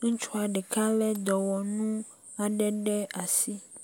ŋutsua ɖeka lé dɔwɔnu aɖe ɖe asi.